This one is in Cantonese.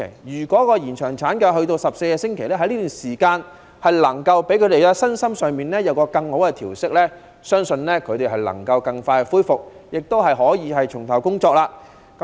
如果延長產假至14周，婦女的身心在這段時間有更佳的調息，相信能夠更快恢復，亦可以重投工作。